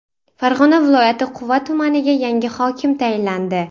Farg‘ona viloyati Quva tumaniga yangi hokim tayinlandi.